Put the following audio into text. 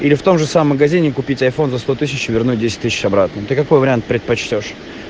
или в том же самом магазине купить айфон за сто тысяч и вернуть десять тысяч обратно ты какой вариант предпочитаешь